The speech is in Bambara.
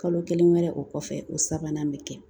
Kalo kelen wɛrɛ o kɔfɛ o sabanan bɛ kɛ